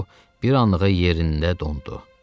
O bir anlığa yerində dondu.